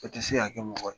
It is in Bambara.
O tɛ se ka kɛ mɔgɔ ye